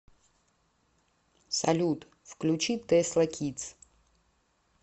салют включи тэсла кидс